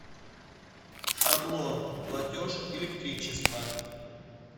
шаблон платеж электричество